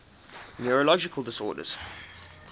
neurological disorders